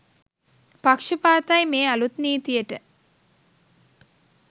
පක්ෂපාතයි මේ අලුත් නීතියට.